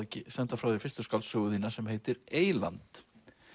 senda frá þér fyrstu skáldsögu þína sem heitir eyland